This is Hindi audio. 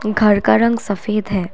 घर का रंग सफेद है।